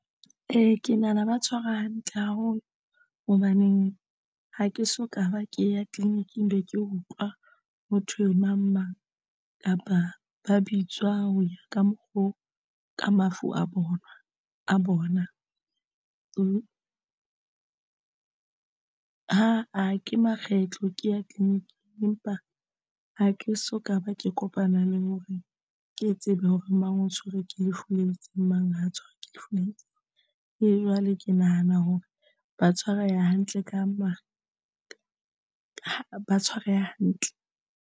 Ee, ke nahana ba tshwara hantle haholo. Hobaneng ha ke soka ba ke ya tleliniking be ke utlwa ho thwe mang mang? Kapa ba bitswa ho ya ka mokgo ka mafu a bona, ke a bona, aa ke makgetlo ke ya tleliniking empa ha ke soka ba ke kopana le hore ke tsebe hore ke mang o tshwerwe ke lefu le itseng mang ha tshwerwe ke lefu le e jwale ke nahana hore ba tshwareha hantle ka mang ba tshwareha hantle.